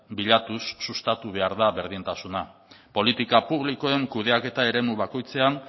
bilatuz sustatu behar da berdintasuna politika publikoen kudeaketa eremu bakoitzean